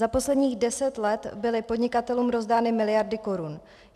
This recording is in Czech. Za posledních deset let byly podnikatelům rozdány miliardy korun.